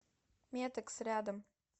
метэкс рядом